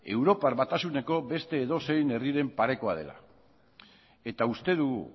europar batasuneko beste edozein herriren parekoa dela eta uste dugu